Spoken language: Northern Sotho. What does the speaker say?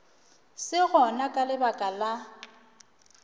se gona ka lebaka la